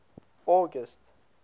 august